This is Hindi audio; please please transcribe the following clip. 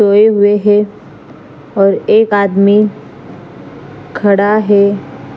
सोये हुए है और एक आदमी खड़ा है।